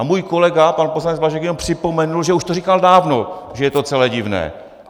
A můj kolega pan poslanec Blažek jenom připomenul, že už to říkal dávno, že je to celé divné.